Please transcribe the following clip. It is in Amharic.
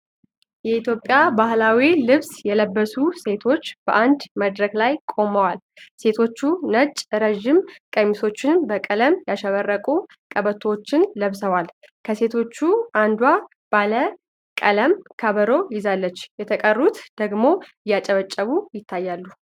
የኢትዮጵያ ባህላዊ ልብስ የለበሱ ሴቶች በአንድ መድረክ ላይ ቆመዋል። ሴቶቹ ነጭ ረዥም ቀሚሶችን በቀለም ያሸበረቁ ቀበቶዎች ለብሰዋል። ከሴቶቹ አንዷ ባለ ቀለም ከበሮ ይዛለች፣ የተቀሩት ደግሞ እያጨበጨቡ ይታያሉ።